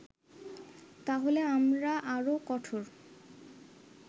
তাহলে আমরা আরো কঠোর